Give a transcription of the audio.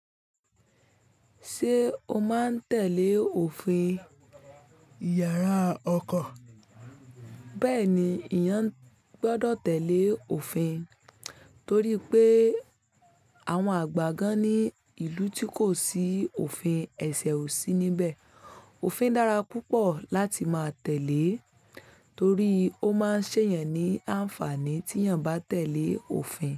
Ṣé o máa ń tẹ̀lé òfin ìyàrá ọkọ̀? Bẹ́ẹ̀ni, ìyàn gbọ́dọ̀ tẹ̀lé òfin torí pé àwọn àgbà gan ní ìlú tí kò sí òfin ẹ̀ṣẹ̀ ò sí níbẹ̀. Òfin dára púpọ̀ láti máa tẹ̀lé torí ó máa ń ṣe èèyàn ní àǹfààní tí èèyàn bá tẹ̀lé òfin.